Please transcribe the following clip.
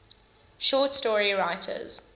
short story writers